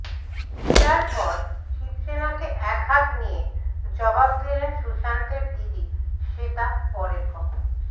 রিয়ার পর শিবসেনাকে একহাত নিয়ে জবাব দিলেন সুশান্তের দিদি শ্বেতা পরের খবর